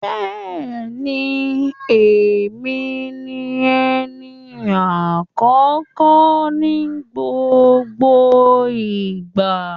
Bẹ́ẹ̀ni, èmi ni ẹni àkọ́kọ́ ní gbogbo ìgbà.